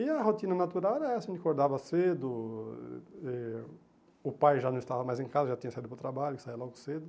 E a rotina natural era essa, a gente acordava cedo, e o pai já não estava mais em casa, já tinha saído para o trabalho, saia logo cedo.